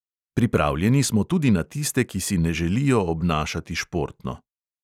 Pripravljeni smo tudi na tiste, ki si ne želijo obnašati športno.